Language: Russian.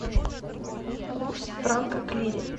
курс франка к лире